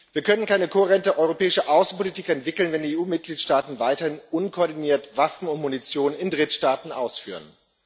Wir können keine kohärente europäische Außenpolitik entwickeln, wenn die EU Mitgliedstaaten weiterhin unkoordiniert Waffen und Munition in Drittstaaten ausführen.